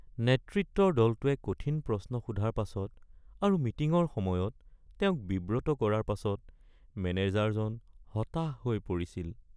নেতৃত্বৰ দলটোৱে কঠিন প্ৰশ্ন সোধাৰ পাছত আৰু মিটিঙৰ সময়ত তেওঁক বিব্ৰত কৰাৰ পাছত মেনেজাৰজন হতাশ হৈ পৰিছিল।